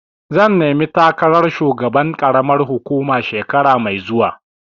Zan nemi takarar shugaban ƙaramar hukuma shekara mai zuwa.